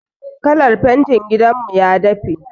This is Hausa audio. Kalar fentin gidan mu ya dafe.